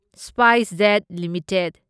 SpiceJet limited